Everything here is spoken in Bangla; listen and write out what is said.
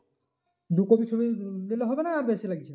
দু copy ছবি দিলে হবে না বেশি লাগছে?